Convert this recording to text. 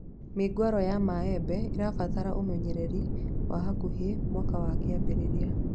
Mĩũngũrwa ya mĩembe ibataraga ũmenyereri wa hakuhĩ mũaka wa kĩambĩrĩria